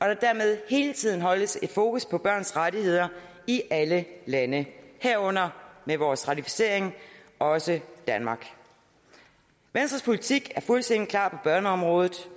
der dermed hele tiden holdes fokus på børns rettigheder i alle lande herunder med vores ratificering også danmark venstres politik er fuldstændig klar på børneområdet